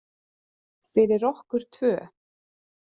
Fyrir okkur tvö.